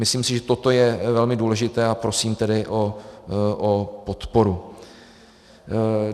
Myslím si, že toto je velmi důležité, a prosím tedy o podporu.